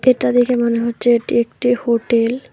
ছবিটা দেখে মনে হচ্ছে এটা একটি হোটেল ।